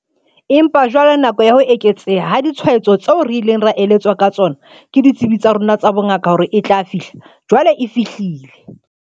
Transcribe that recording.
Empa jwale nako ya ho eketseha ha ditshwaetso tseo re ileng ra eletswa ka tsona ke ditsebi tsa rona tsa bongaka hore e tla fihla, jwale e fihlile.